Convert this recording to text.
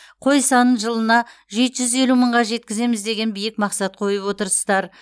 қой санын жылына жеті жүз елу мыңға жеткіземіз деген биік мақсат қойып отырсыздар